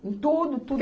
Em tudo, tudo